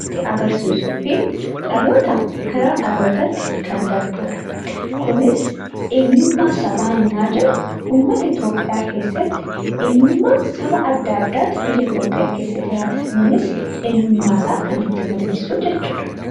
itti agarsiisuu fi dhalootaa gara dhalootatti kan darbudha. Kunis eenyummaa sabaa yennaa jedhu uummata Itoophiyaa keessatti eenyummaa saba adda addaa biyya Itoophiyaa keessa jiraatan. Innis eenyummaa isaa kan ittiin mul'isu jechuudha.